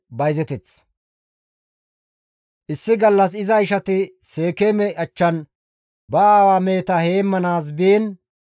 Issi gallas iza ishati Seekeeme achchan ba aawaa meheta heemmanaas biin,